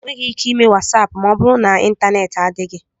Enweghị ike ime WatsAapụ ma ọ bụrụ na ịntaneti adịghị.